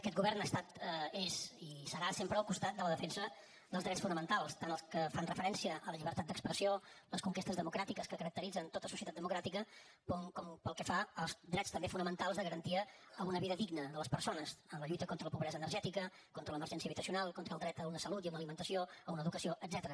aquest govern ha estat és i serà sempre al costat de la defensa dels drets fonamentals tant els que fan referència a la llibertat d’expressió les conquestes democràtiques que caracteritzen tota societat democràtica com pel que fa als drets també fonamentals de garantia d’una vida digna de les persones en la lluita contra la pobresa energètica contra l’emergència habitacional en el dret a una salut i a una alimentació a una educació etcètera